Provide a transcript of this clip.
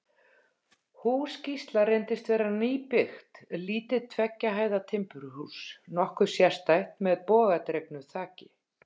Hús Gísla reyndist vera nýbyggt, lítið tveggja hæða timburhús, nokkuð sérstætt, með bogadregnu þaki.